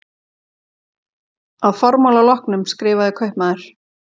Að formála loknum skrifaði kaupmaður